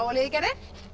liðið gerði